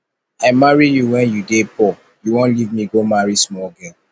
i marry you wen you dey poor you wan leave me go marry small girl